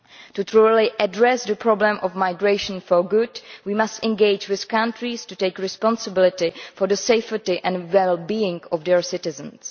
To truly address the problem of migration for good we must engage with countries to take responsibility for the safety and well being of their citizens.